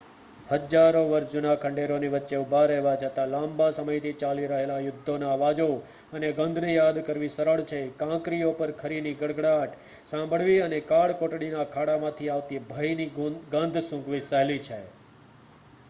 હજારો વર્ષ જૂના ખંડેરોની વચ્ચે ઊભા રહેવા છતાં લાંબા સમયથી ચાલી રહેલા યુદ્ધોના અવાજો અને ગંધને યાદ કરવી સરળ છે કાંકરીઓ પર ખરીની ગડગડાટ સાંભળવી અને કાળકોટડીના ખાડામાંથી આવતી ભયની ગંધ સૂંઘવી સહેલી છે